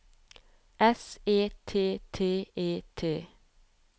S E T T E T